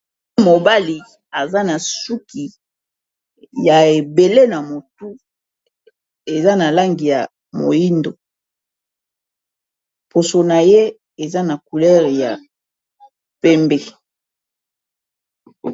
Mobali aza na suki ya ebele na motu eza na langi ya moyindo poso na ye eza na couleur ya pembe.